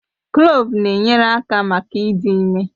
Kloovu na-enyere aka maka ịdị ime